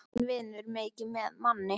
Tíminn vinnur mikið með manni.